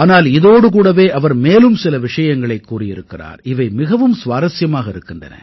ஆனால் இதோடு கூடவே அவர் மேலும் சில விஷயங்களைக் கூறியிருக்கிறார் இவை மிகவும் சுவாரசியமாக இருக்கின்றன